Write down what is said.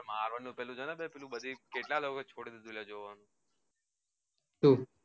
હા પણ marvel નું પેલું છે ને બધી કેટલા લોકો એ છોડી દીધું જોવાનું સુ